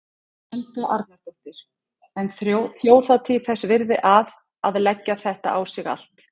Helga Arnardóttir: En þjóðhátíð þess virði að, að leggja þetta á sig allt?